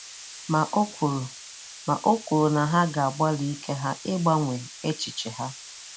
Ma ọ̀ kwùrù Ma ọ̀ kwùrù na ha ga-agbalị ike ha ị̀gbanwee echiche ha.